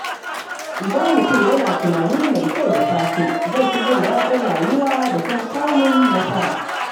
Idan mutum yana tunani mai kyau da safe, zai fi jin daɗin rayuwa da kuma samun nasara.